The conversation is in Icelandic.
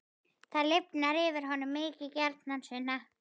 Það lifnar yfir honum: Mikið gjarnan, Sunna.